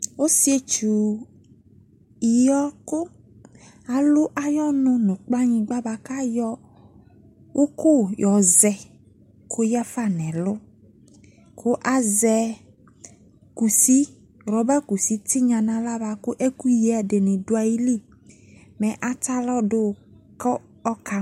Ɔsiɛtsu yɔ ko alu ayɔnu no kplanyingba boako ayɔ uku yɔ zɛ ko yiafa no ɛlu ko azɛ kusi, rɔba kusi tenya no ala biako ɛkuyie ɛdene do ayili, mɛ atalɔ do ko aka